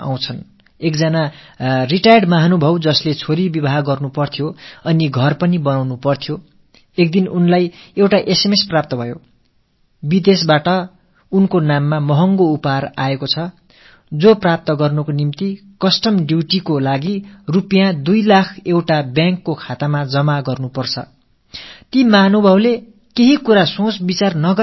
பணி ஓய்வு பெற்று மகளுக்குத் திருமணம் முடிக்க வேண்டிய கட்டத்தில் சொந்தமாக ஒரு வீடு கட்டிக் கொண்டு வாழ இருப்பவருக்கு ஒரு நாள் ஒரு குறுஞ்செய்தி வந்தது அயல்நாட்டிலிருந்து உங்களுக்கு ஒரு பெரிய வெகுமதி கிடைத்திருக்கிறது இதை அடைய வேண்டுமென்றால் சுங்கத் தீர்வைக்காக 2 இலட்சம் ரூபாயை வங்கிக் கணக்கில் போடுங்கள் என்று அதில் குறிப்பிடப்பட்டிருந்தது